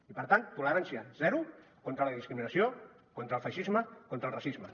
i per tant tolerància zero contra la discriminació contra el feixisme contra el racisme